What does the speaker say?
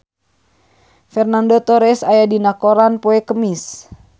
Fernando Torres aya dina koran poe Kemis